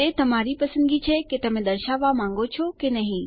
તે તમારી પસંદગી છે કે તમે દર્શાવવા માંગો છો કે નહી